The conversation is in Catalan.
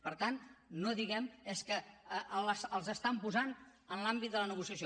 per tant no diguem és que els estan posant en l’àmbit de la negociació